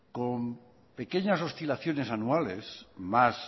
con pequeñas oscilaciones anuales y más